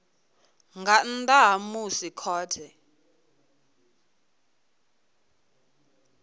nga nnḓa ha musi khothe